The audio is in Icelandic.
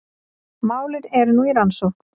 Málin eru nú í rannsókn